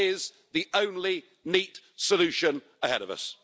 That is the only neat solution ahead of us.